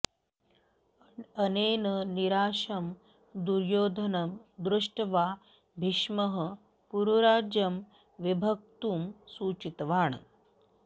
अनेन निराशं दुर्योधनं दृष्ट्वा भीष्मः कुरुराज्यं विभक्तुं सूचितवान्